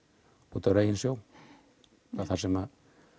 úti á reginsjó þar sem